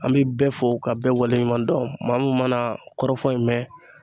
An bɛ bɛɛ fo ka bɛɛ wale ɲuman dɔn, maa mun mana kɔrɔfɔ in mɛn